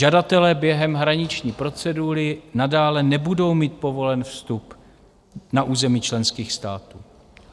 Žadatelé během hraniční procedury nadále nebudou mít povolen vstup na území členských států.